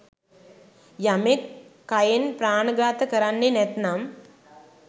යමෙක් කයෙන් ප්‍රාණඝාත කරන්නෙ නැත්නම්